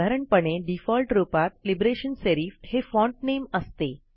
साधारणपणे डीफॉल्ट रूपात Liberation Serif हे फाँट नेम असते